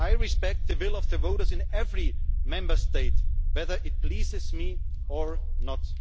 I respect the will of the voters in every Member State, whether it pleases me or not.